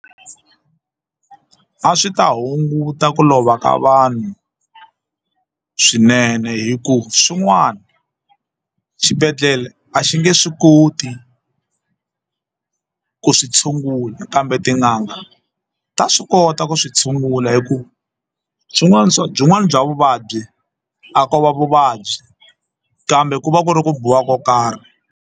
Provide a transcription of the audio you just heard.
A swi ta hunguta ku lova ka vanhu swinene hi ku swin'wana xibedhlele a xi nge swi koti ku swi tshungula kambe tin'anga ta swi kota ku swi tshungula hi ku byin'wana bya vuvabyi a ko va vuvabyi kambe ku va ku ri ku biwa ko karhi.